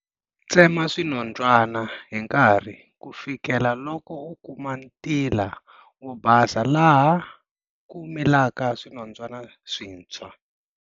Tsema swinondzwana hi nkarhi ku fikela loko u kuma ntila wo basa laha ku milaka swinondzwana swintshwa.